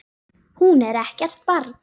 Hún er ekkert barn.